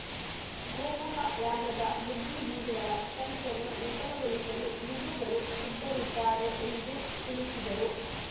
ಗೋಮುಖ ವ್ಯಾಘ್ರದ ಬುದ್ಧಿಜೀವಿಗಳ ಸಂಚನ್ನು ವಿಫಲಗೊಳಿಸಲು ಹಿಂದೂಗಳು ಸಿದ್ಧರಿದ್ದಾರೆ ಎಂದು ತಿಳಿಸಿದರು